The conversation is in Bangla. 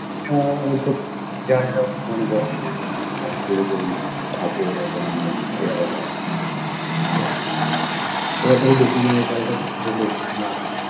এবার ধরো দোকানের ওপারে একটা ছোট দোকান আছে